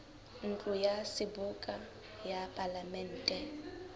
ntlo ya seboka ya palamente